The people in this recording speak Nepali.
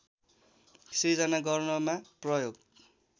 सृजना गर्नमा प्रयोग